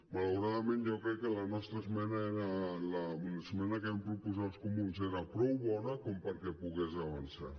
malauradament jo crec que la nostra esmena l’esmena que vam proposar els comuns era prou bona com perquè pogués avançar